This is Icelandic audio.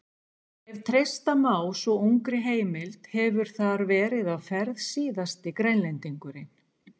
Ef treysta má svo ungri heimild hefur þar verið á ferð síðasti Grænlendingurinn.